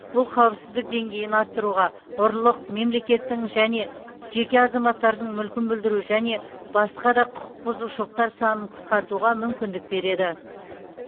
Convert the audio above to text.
бұл қауіпсіздік деңгейін арттыруға ұрлық мемлекеттің эәне жеке азаматтардың мүлкін бүлдіру және басқа да құқықбұзушылықтар санын қысқартуға мүмкіндік береді